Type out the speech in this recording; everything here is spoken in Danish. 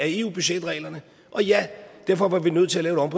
eu budgetreglerne og ja derfor var vi nødt til at